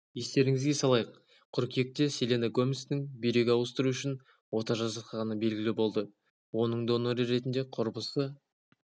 естеріңізге салайық қыркүйекте селена гоместің бүйрек ауыстыру үшін ота жасатқаны белгілі болды оның доноры ретінде құрбысы